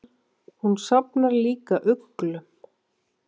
Hún safnar líka uglum.